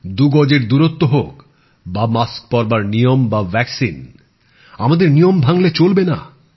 দুগজের দুরত্ব হোক বা মাস্ক পরবার নিয়ম বা টিকা আমাদের নিয়ম ভাঙলে চলবে না